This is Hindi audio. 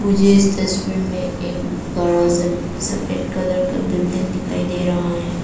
मुझे इस तस्वीर में एक बड़ा सा सफेद कलर का बिल्डिंग दिखाई दे रहा हैं।